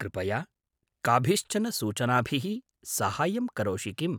कृपया काभिश्चन सूचनाभिः साहाय्यं करोषि किम्?